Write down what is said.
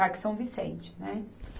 Parque São Vicente, né?